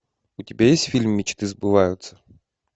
у тебя есть фильм мечты сбываются